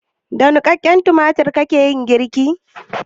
Da niƙaƙƙen tumatir kika yi girkin?